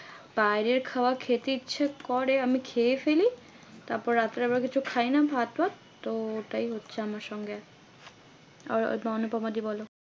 বাইরের খাবার খেতে ইচ্ছে করে। আমি খেয়ে ফেলি। তারপরে রাতে আবার কিছু খাইনা ভাত ফাত তো ওটাই হচ্ছে আমার সঙ্গে এখন। আর অনুপমা দি বলো?